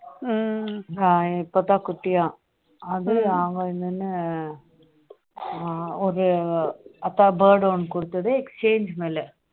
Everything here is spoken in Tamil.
இப்போதான் குட்டியா அவங்க இன்னொன்னு ஒரு bird ஒன்னு கொடுத்தது exchange மேல